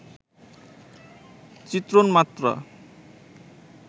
চিত্রণ মাত্র